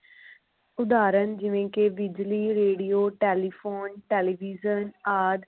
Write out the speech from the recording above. ਉਦਾਹਰਣ ਜਿਵੇ ਕਿ ਬਿਜਲੀ ਰੇਡੀਓ ਟੈਲੀਫੋਨ ਟੈਲੀਵਿਜ਼ਨ ਆਦਿ